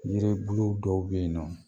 Yiri bulu dɔw be yen nɔ